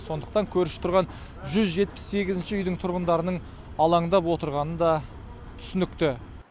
сондықтан көрші тұрған жүз жетпіс сегізінші үйдің тұрғындарының алаңдап отырғаны да түсінікті